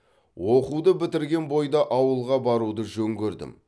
оқуды бітірген бойда ауылға баруды жөн көрдім